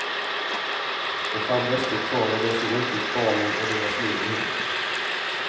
Och fann rester kvar av det som utgjort barnen och deras liv ihop.